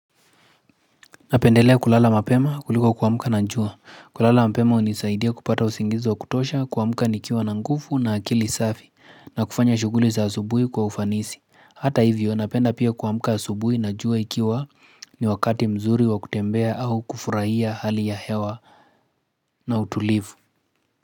Napendelea kulala mapema kuliko kuamka na jua. Kulala mapema hunisaidia kupata usingizi wa kutosha kuamka nikiwa na nguvu na akili safi na kufanya shughuli za asubuhi kwa ufanisi. Hata hivyo napenda pia kuamka asubui na jua ikiwa ni wakati mzuri wa kutembea au kufurahia hali ya hewa na utulivu.